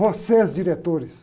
Vocês, diretores.